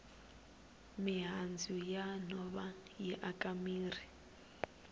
mihandzu ya nhova yi aka mirhi